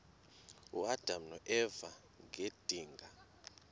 uadam noeva ngedinga